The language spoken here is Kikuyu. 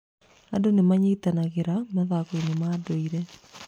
Andũ nĩ manyitanagĩra mathako-inĩ ma ndũire.